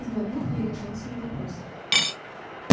сглотнув я решился на вопрос